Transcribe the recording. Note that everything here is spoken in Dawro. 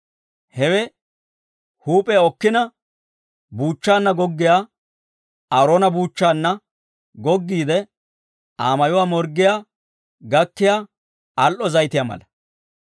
Hewe huup'iyaa okkina, buuchchaanna goggiyaa, Aaroona buuchchaanna goggiide Aa mayuwaa morggiyaa gakkiyaa al"o zayitiyaa mala.